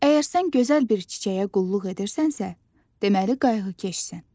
Əgər sən gözəl bir çiçəyə qulluq edirsənsə, deməli qayğıkeşsən.